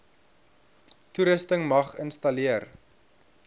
toerusting mag installeer